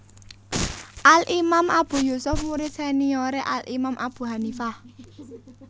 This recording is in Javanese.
Al Imam Abu Yusuf murid seniore Al Imam Abu Hanifah